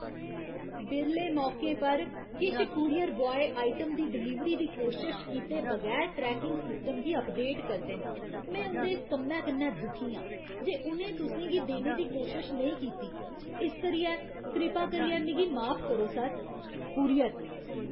बिरले मौकें पर, किश कूरियर ब्वाय आइटम दी डलीवरी दी कोशश कीते बगैर ट्रैकिंग सिस्टम गी अपडेट करदे न। में उं'दे इस कम्मै कन्नै दुखी आं जे उ'नें तुसें गी देने दी कोशश नेईं कीती, इस करियै कृपा करियै मिगी माफ करो, सर। कूरियर